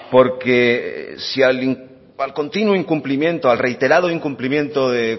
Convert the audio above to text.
porque si al continuo incumplimiento al reiterado incumplimiento de